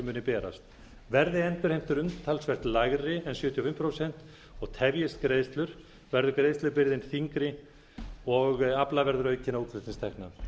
muni berast verði endurheimtur umtalsvert lægri en sjötíu og fimm prósent og tefjist greiðslur verður greiðslubyrðin þyngri og afla verður aukinna útflutningstekna